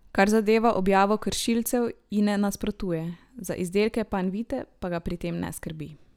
Kar zadeva objavo kršilcev, ji ne nasprotuje, za izdelke Panvite pa ga pri tem ne skrbi.